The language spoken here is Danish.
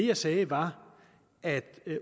jeg sagde var at